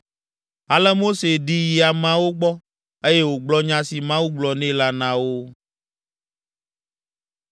Ale Mose ɖi yi ameawo gbɔ, eye wògblɔ nya si Mawu gblɔ nɛ la na wo.